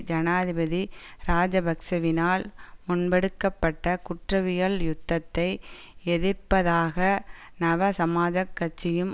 ஜனாதிபதி இராஜபக்ஷவினால் முன்பெடுக்கப்பட்ட குற்றவியல் யுத்தத்தை எதிர்ப்பதாக நவசமாஜக் கட்சியும்